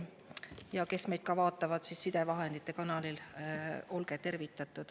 Ja olgu tervitatud ka need, kes vaatavad meid sidevahendite kaudu.